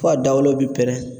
Fo a dawolo bi pɛrɛn